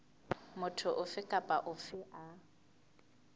motho ofe kapa ofe a